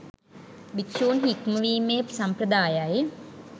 භික්‍ෂූන් හික්මවීමේ සම්ප්‍රදායයි.